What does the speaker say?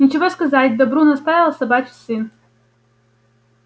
нечего сказать добру наставил собачий сын